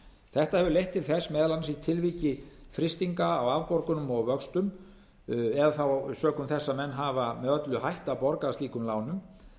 þetta hefur leitt til þess meðal annars í tilviki frystinga á afborgunum og vöxtum eða þá sökum þess að menn hafa með öllu hætt að borga af slíkum lánum